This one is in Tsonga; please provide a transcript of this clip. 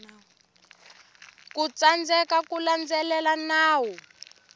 ku tsandzeka ku landzelela nawu